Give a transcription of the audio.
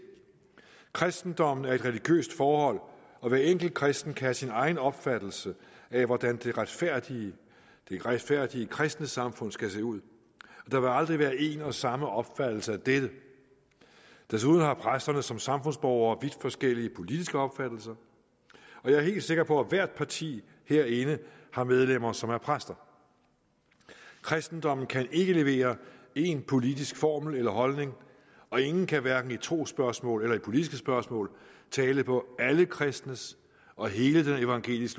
kristendommen er et religiøst forhold og hver enkelt kristen kan have sin egen opfattelse af hvordan det retfærdige retfærdige kristne samfund skal se ud og der vil aldrig være en og samme opfattelse af dette desuden har præsterne som samfundsborgere vidt forskellige politiske opfattelser og jeg er helt sikker på at hvert parti herinde har medlemmer som er præster kristendommen kan ikke levere én politisk formel eller holdning og ingen kan hverken i trosspørgsmål eller i politiske spørgsmål tale på alle kristnes og hele den evangelisk